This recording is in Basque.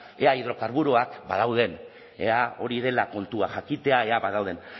ea hidrokarburoak badauden ea hori dela kontua jakitea ea badauden